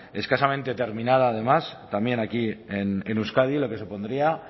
escasamente determinada además también aquí en euskadi lo que supondría